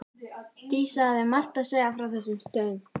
Dísa hafði margt að segja frá þessum stöðum.